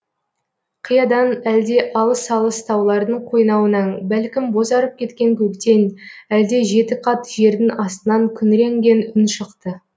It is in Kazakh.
қиядан әлде алыс алыс таулардың қойнауынан бәлкім бозарып кеткен көктен әлде жетіқат жердің астынан күңіренген үн шықты